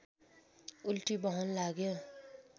उल्टी बहन लाग्यो